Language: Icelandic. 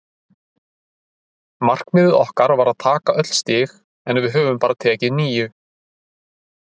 Markmiðið okkar var að taka öll stig en við höfum bara tekið níu.